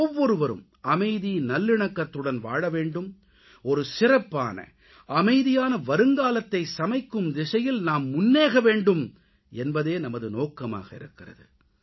ஒவ்வொருவரும் அமைதி நல்லிணக்கத்துடன் வாழவேண்டும் ஒரு சிறப்பான அமைதியான வருங்காலத்தைச் சமைக்கும் திசையில் நாம் முன்னேற வேண்டும் என்பதே நமது நோக்கமாக இருக்கிறது